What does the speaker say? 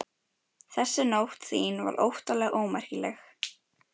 Þessi Nótt þín var óttalega ómerkileg.